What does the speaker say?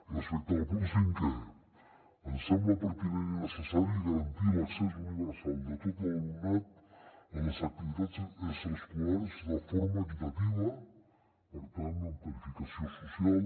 respecte al punt cinquè ens sembla pertinent i necessari garantir l’accés universal de tot l’alumnat a les activitats extraescolars de forma equitativa per tant amb tarifació social